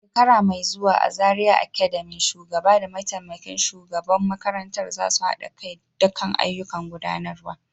A shekara mai zuwa a Zariya Academy, shugaba da mataimakin shugaban makarantar za su haɗa kai kan ayyukan gudanarwa.